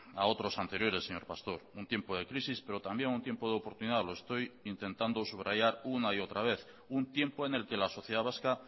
a otros anteriores señor pastor un tiempo de crisis pero también un tiempo de oportunidad lo estoy intentando subrayar una y otra vez un tiempo en el que la sociedad vasca